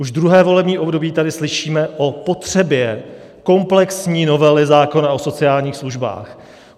Už druhé volební období tady slyšíme o potřebě komplexní novely zákona o sociálních službách.